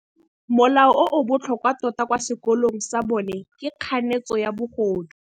Molao o o botlhokwa tota kwa sekolong sa bone ke kganetsô ya bogodu.